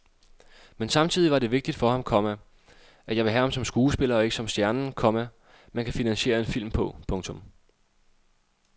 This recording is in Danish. Men samtidig var det vigtigt for ham, komma at jeg ville have ham som skuespiller og ikke som stjernen, komma man kan financiere en film på. punktum